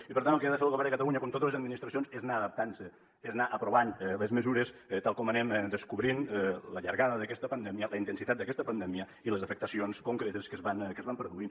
i per tant el que ha de fer el govern de catalunya com totes les administracions és anar adaptant se és anar aprovant les mesures tal com anem descobrint la llargada d’aquesta pandèmia la intensitat d’aquesta pandèmia i les afectacions concretes que es van produint